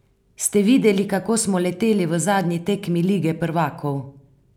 Ste videli, kako smo leteli v zadnji tekmi lige prvakov?